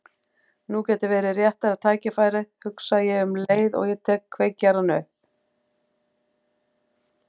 Nú gæti verið rétta tækifærið, hugsa ég um leið og ég tek kveikjarann upp.